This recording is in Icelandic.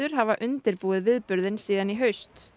hafa undirbúið viðburðinn síðan í haust